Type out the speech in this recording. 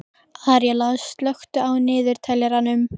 Aríela, slökktu á niðurteljaranum.